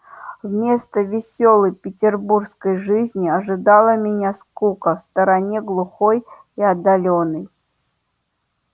вместо весёлой петербургской жизни ожидала меня скука в стороне глухой и отдалённой